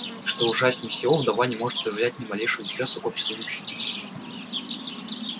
и что ужаснее всего вдова не может проявлять ни малейшего интереса к обществу мужчин